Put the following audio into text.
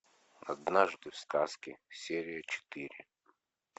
однажды в сказке серия четыре